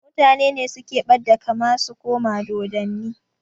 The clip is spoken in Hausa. Mutane ne suke ɓadda kama su koma dodanni